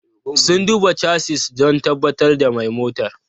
Sun duba chassis don tabbatar da mai motar.